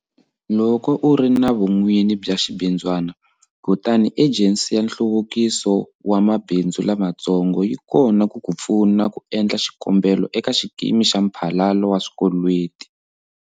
Loko u ri na vun'wini bya xibindzwana, kutani Ejensi ya Nhluvukiso wa Mabindzu Lamatsongo yi kona ku ku pfuna ku endla xikombelo eka xikimi xa mphalalo wa swikweleti.